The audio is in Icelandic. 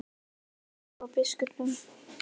En ég er ekki búinn að skrifa biskupnum.